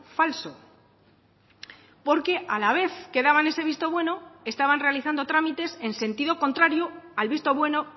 falso porque a la vez que daban ese visto bueno estaban realizando trámites en sentido contrario al visto bueno